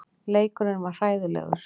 Leikurinn var hræðilegur.